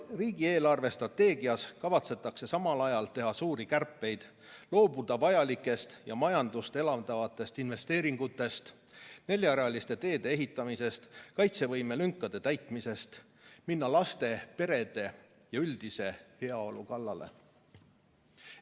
Riigi eelarvestrateegias kavatsetakse samal ajal teha suuri kärpeid, loobuda vajalikest, majandust elavdavatest investeeringutest, neljarealiste teede ehitamisest ja kaitsevõimelünkade täitmisest ning minna laste, perede ja üldise heaolu kallale.